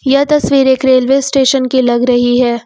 यह तस्वीर एक रेलवे स्टेशन की लग रही है।